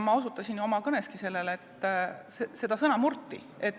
Ma osutasin oma kõneski sellele, et sõna murti.